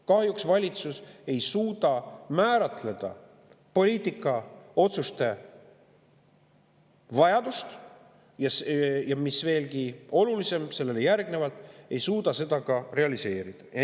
Kahjuks valitsus ei suuda määratleda poliitikaotsuste vajadust, ja mis seejärel veelgi olulisem, valitsus ei suuda seda ka realiseerida.